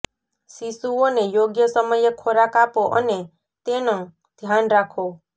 શિશુઓને યોગ્ય સમયે ખોરાક આપો અને તેનં ધ્યાન રાખો